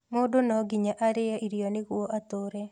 Mũndũ no nginya arĩe irio nĩguo atũre